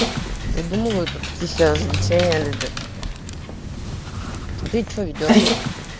ты думала это развлечение люди любят а ты чо ведёшься